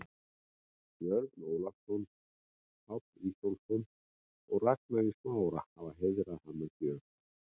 Björn Ólafsson, Páll Ísólfsson og Ragnar í Smára, hafa heiðrað hann með gjöf.